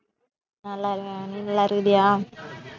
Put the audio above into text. நல்லா இருக்கேன். நீ நல்லா இருக்கிறியா